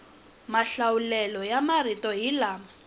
mahlawulelo ya marito hi lama